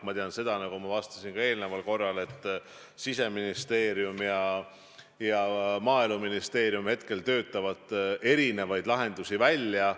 Ma tean seda, nagu ma juba ka vastasin, et Siseministeerium ja Maaeluministeerium töötavad erinevaid lahendusi välja.